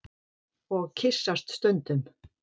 Og kyssast stundum.